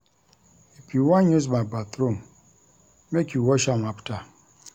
If you wan use my bathroom, make you wash am afta.